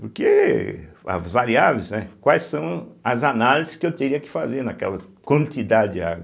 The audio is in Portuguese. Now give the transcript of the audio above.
Porque as variáveis, né, quais são as análises que eu teria que fazer naquela quantidade de água?